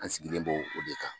An sigilen bo o de kan.